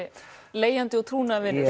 leigjandi og trúnaðarvinur